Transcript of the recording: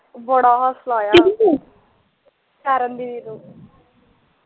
ਬੜਾ ਹਾਸਾ ਆਇਆ ਸ਼ਰਨ ਦੀਦੀ ਨੂੰ